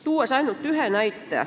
Toon ainult ühe näite.